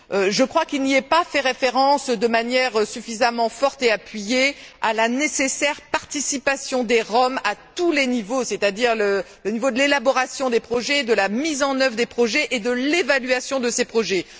Je crois qu'il n'y est pas fait référence de manière suffisamment forte et appuyée à la nécessaire participation des Roms à tous les niveaux, c'est à dire le niveau de l'élaboration des projets, de la mise en œuvre des projets et de l'évaluation de ces projets.